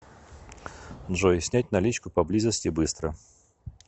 джой снять наличку поблизости быстро